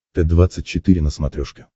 т двадцать четыре на смотрешке